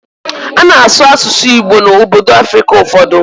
Ana asụ asụsụ Igbo na obodo Africa ụfọdụ